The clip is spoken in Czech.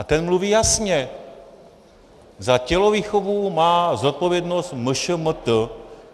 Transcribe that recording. A ten mluví jasně: za tělovýchovu má zodpovědnost MŠMT.